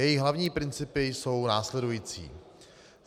Její hlavní principy jsou následující: